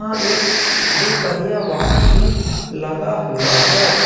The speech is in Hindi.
और एक दो पहिया वाहन भी लगा हुआ है।